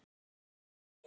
Þín, Ólöf.